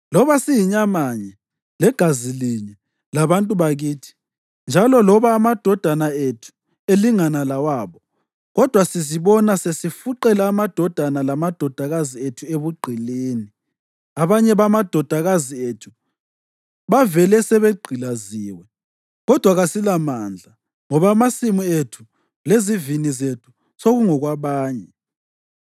Loba siyinyamanye legazi linye labantu bakithi njalo loba amadodana ethu elingana lawabo, kodwa sizibona sesifuqela amadodana lamadodakazi ethu ebugqilini. Abanye bamadodakazi ethu bavele sebegqilaziwe, kodwa kasilamandla, ngoba amasimu ethu lezivini zethu sekungokwabanye.”